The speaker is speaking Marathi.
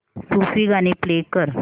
सूफी गाणी प्ले कर